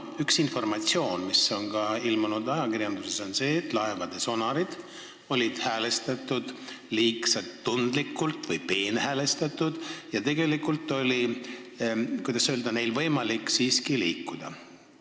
Üks informatsioon, mis on ilmunud ka ajakirjanduses, on see, et laevade sonarid olid häälestatud liiga tundlikult või peenhäälestatud, ja tegelikult oli neil siiski võimalik liikuda.